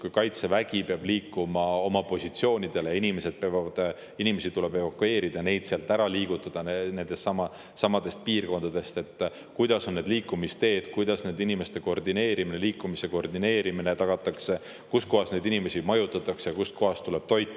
Kui Kaitsevägi peab liikuma oma positsioonidele ja inimesi tuleb evakueerida, neid sealt piirkondadest ära liigutada, siis millised on liikumisteed, kuidas nende inimeste liikumise koordineerimine tagatakse, kus kohas neid inimesi majutatakse, kust kohast tuleb toit.